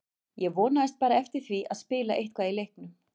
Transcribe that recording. Ég vonaðist bara eftir því að spila eitthvað í leiknum.